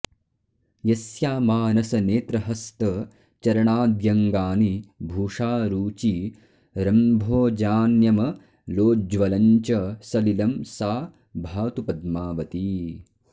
यस्या मानसनेत्रहस्त चरणाद्यङ्गानि भूषारुची रम्भोजान्यमलोज्ज्वलं च सलिलं सा भातु पद्मावती